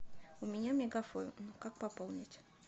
у меня мегафон как пополнить